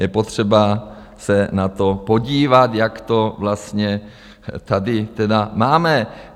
Je potřeba se na to podívat, jak to vlastně tady tedy máme.